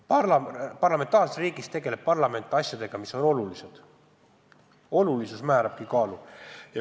Parlamentaarses riigis tegeleb parlament asjadega, mis on olulised – olulisus ongi määrav.